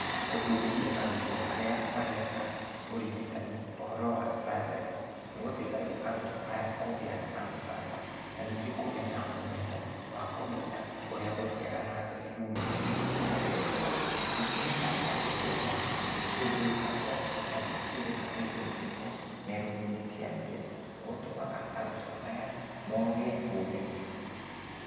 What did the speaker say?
Kũbundithia arutwo arĩa mareka ũrigitani ũhoro wa canjarĩ. Nĩgũteithagia arutwo aya kũgĩa na ũcamba na ningĩ kũgĩa na ũmenyo wa kũmenya ũrĩa gũthiaga na mbere rumu-inĩ ici cia thieta. Ningĩ makagĩa kuona nĩkĩ gĩkagwo na nĩkĩ gĩbatairwo gwĩkwo me rumu-inĩ cia thieta, nĩgũtũmaga arutwo aya moge ũgĩ.